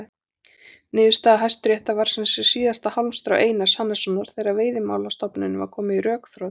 Niðurstaða Hæstaréttar var sem sé síðasta hálmstrá Einars Hannessonar þegar Veiðimálastofnunin var komin í rökþrot.